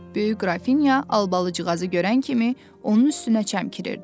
Böyük Qrafinya Albalıcıqazı görən kimi onun üstünə çəmkirirdi.